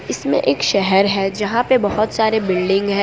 इसमें एक शहर है जहां पे बहोत सारे बिल्डिंग है।